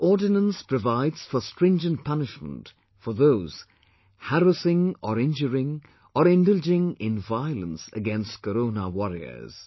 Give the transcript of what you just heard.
This ordinance provides for stringent punishment for those harassing or injuring or indulging in violence against Corona warriors